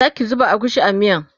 Zaki zuba agushi a miyan?